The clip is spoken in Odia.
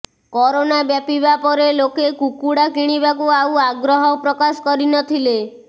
କରୋନା ବ୍ୟାପିବା ପରେ ଲୋକେ କୁକୁଡ଼ା କିଣିବାକୁ ଆଉ ଆଗ୍ରହ ପ୍ରକାଶ କରି ନ ଥିଲେ